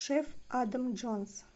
шеф адам джонс